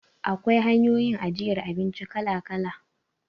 Akwai hanyoyin ajiyar abinci kala-kala.